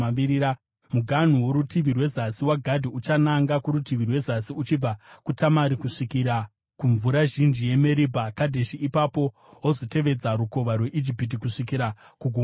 Muganhu worutivi rwezasi waGadhi uchananga kurutivi rwezasi uchibva kuTamari kusvikira kumvura zhinji yeMeribha Kadheshi, ipapo wozotevedza Rukova rweIjipiti kusvikira kuGungwa Guru.